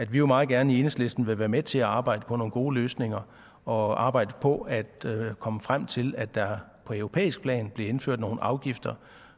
vi jo meget gerne i enhedslisten vil være med til at arbejde på nogle gode løsninger og arbejde på at komme frem til at der på europæisk plan blev indført nogle afgifter